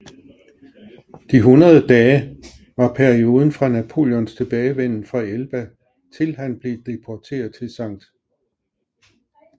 De hundrede dage var perioden fra Napoleons tilbagevenden fra Elba til han blev deporteret til Skt